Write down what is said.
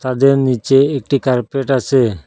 তাদের নীচে একটি কার্পেট আছে।